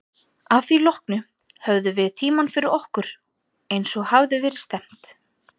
Að því loknu höfðum við tímann fyrir okkur, eins og að hafði verið stefnt.